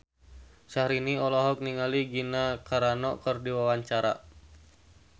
Syahrini olohok ningali Gina Carano keur diwawancara